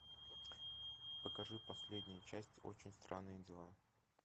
покажи последнюю часть очень странные дела